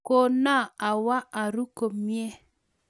Kona awo aru komnye